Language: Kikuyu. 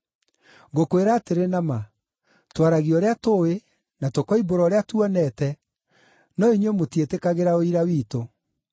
Ngũkwĩra atĩrĩ na ma, twaragia ũrĩa tũũĩ, na tũkoimbũra ũrĩa tuonete, no inyuĩ, mũtiĩtĩkagĩra ũira witũ.